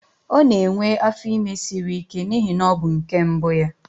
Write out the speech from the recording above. Ọ na-enwe afọ ime siri ike n'ihi na ọ bụ nke mbụ ya